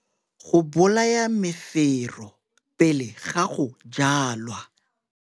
Go bolaya mefero pele ga go jwala.